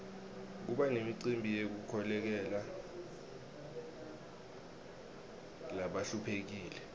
kuba nemicimbi yekukolekela labahluphekile